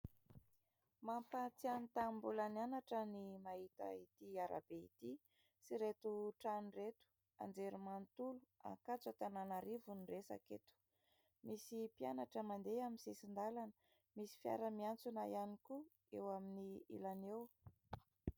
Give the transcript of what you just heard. Mampahatsiahy ny tamin'ny mbola nianatra ny mahita ity arabe ity sy ireto trany ireto. Anjerimanontolo Ankatso Antananarivo ny resaka eto; misy mpianatra mandeha amin'ny sisin-dalana, misy fiara miantsona ihany koa eo amin'ny ilany eo.